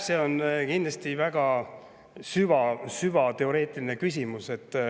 See on kindlasti väga süvateoreetiline küsimus.